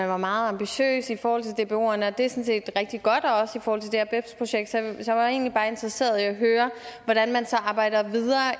var meget ambitiøse i forhold til dboerne og det er sådan set rigtig godt også i forhold til det her bebs projekt så jeg er egentlig bare interesseret i at høre hvordan man arbejder videre